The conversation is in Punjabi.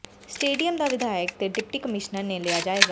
ਸਟੇਡੀਅਮ ਦਾ ਵਿਧਾਇਕ ਤੇ ਡਿਪਟੀ ਕਮਿਸ਼ਨਰ ਨੇ ਲਿਆ ਜਾਇਜ਼ਾ